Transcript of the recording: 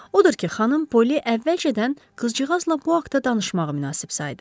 Odur ki, xanım Poli əvvəlcədən qızcıqazla bu haqda danışmağı münasib saydı.